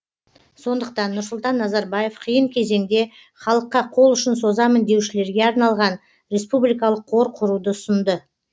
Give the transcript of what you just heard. сондықтан нұрсұлтан назарбаев қиын кезеңде халыққа қол ұшын созамын деушілерге арналған республикалық қор құруды ұсынды